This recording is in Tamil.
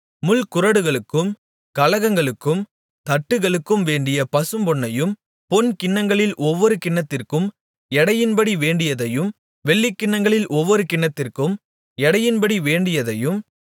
முள்குறடுகளுக்கும் கலங்களுக்கும் தட்டுகளுக்கும் வேண்டிய பசும்பொன்னையும் பொன் கிண்ணங்களில் ஒவ்வொரு கிண்ணத்திற்கும் எடையின்படி வேண்டியதையும் வெள்ளிக் கிண்ணங்களில் ஒவ்வொரு கிண்ணத்திற்கும் எடையின்படி வேண்டியதையும்